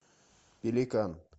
пеликан